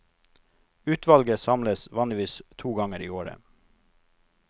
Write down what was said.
Utvalget samles vanligvis to ganger i året.